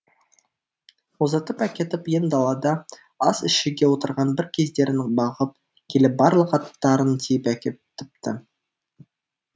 ұзатып әкетіп ен далада ас ішуге отырған бір кездерін бағып келіп барлық аттарын тиіп әкетіпті